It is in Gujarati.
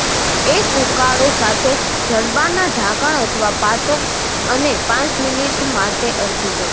એક ઉકાળો સાથે જડબાના ઢાંકણ અથવા પાટો અને પાંચ મિનિટ માટે અરજી કરો